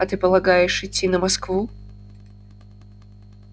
а ты полагаешь идти на москву